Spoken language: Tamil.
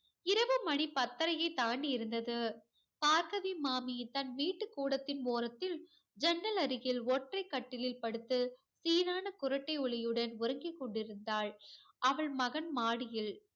இரவு மணி பத்தரையை தாண்டி இருந்தது. பார்கவி மாமி தன் வீட்டுக் கூடத்தின் ஓரத்தில் ஜன்னல் அருகில் ஒற்றை கட்டிலில் படுத்து சீரான குறட்டை ஒலியுடன் உறங்கிக் கொண்டிருந்தாள். அவள் மகன் மாடியில்